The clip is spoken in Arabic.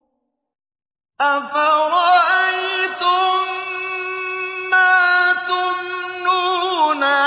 أَفَرَأَيْتُم مَّا تُمْنُونَ